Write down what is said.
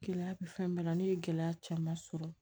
Gɛlɛya bɛ fɛn bɛɛ la ne ye gɛlɛya caman sɔrɔ